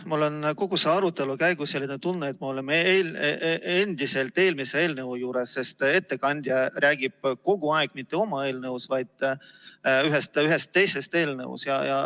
Mul on kogu selle arutelu käigus tunne, et me oleme endiselt eelmise eelnõu juures, sest ettekandja räägib kogu aeg mitte oma eelnõust, vaid ühest teisest eelnõust.